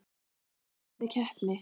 Er þetta erfið keppni?